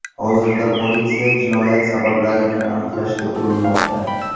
Hozirda politsiya jinoyat sabablarini aniqlashga urinmoqda.